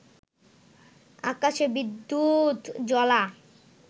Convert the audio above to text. আকাশে বিদ্যুৎজ্বলা